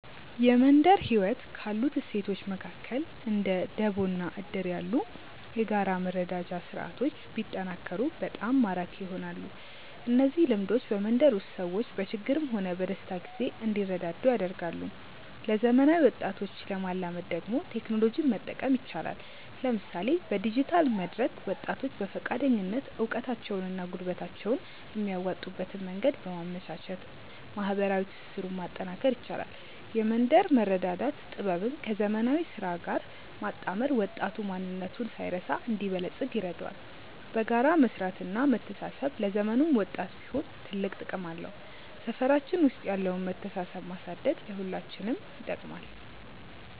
የመንደር ህይወት ካሉት እሴቶች መካከል እንደ ደቦ እና እድር ያሉ የጋራ መረዳጃ ስርዓቶች ቢጠናከሩ በጣም ማራኪ ይሆናሉ። እነዚህ ልምዶች በመንደር ውስጥ ሰዎች በችግርም ሆነ በደስታ ጊዜ እንዲረዳዱ ያደርጋሉ። ለዘመናዊ ወጣቶች ለማላመድ ደግሞ ቴክኖሎጂን መጠቀም ይቻላል፤ ለምሳሌ በዲጂታል መድረክ ወጣቶች በፈቃደኝነት እውቀታቸውንና ጉልበታቸውን የሚያዋጡበትን መንገድ በማመቻቸት ማህበራዊ ትስስሩን ማጠናከር ይቻላል። የመንደር መረዳዳት ጥበብን ከዘመናዊ ስራ ጋር ማጣመር ወጣቱ ማንነቱን ሳይረሳ እንዲበለጽግ ይረዳዋል። በጋራ መስራትና መተሳሰብ ለዘመኑም ወጣት ቢሆን ትልቅ ጥቅም አለው። ሰፈራችን ውስጥ ያለውን መተሳሰብ ማሳደግ ለሁላችንም ይጠቅማል።